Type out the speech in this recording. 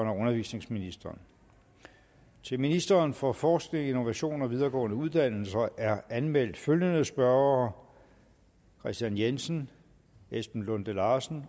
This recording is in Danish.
undervisningsministeren til ministeren for forskning innovation og videregående uddannelser er anmeldt følgende spørgere kristian jensen esben lunde larsen